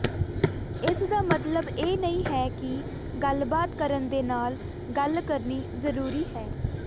ਇਸ ਦਾ ਮਤਲਬ ਇਹ ਨਹੀਂ ਹੈ ਕਿ ਗੱਲਬਾਤ ਕਰਨ ਦੇ ਨਾਲ ਗੱਲ ਕਰਨੀ ਜ਼ਰੂਰੀ ਹੈ